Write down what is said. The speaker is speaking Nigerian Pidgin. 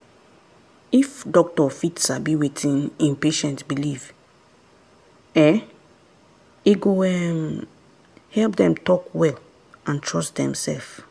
if doctor fit sabi wetin en patient believe[um]e go um help them talk well and trust demsef.